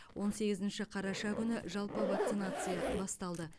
он сегізінші қараша күні жалпы вакцинация басталды